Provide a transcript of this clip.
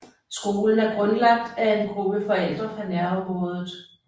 Skolen er grundlagt af en gruppe forældre fra nærområdet